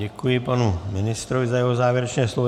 Děkuji panu ministrovi za jeho závěrečné slovo.